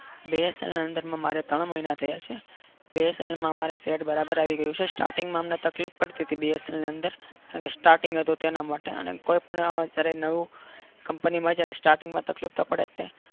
BSL ની અંદર મારે ત્રણ મહિના થયા છે બીએસએલમાં સેટ મારે બરાબર આવી ગયું છે starting માં અમને તકલીફ પડતી હતી બી એસલ ની અંદર કારણ કે starting હતું તેના માટે કોઈપણ અત્યારે નવું કંપનીમાં જ્યારે સ્ટાર્ટિંગમાં તકલીફ તો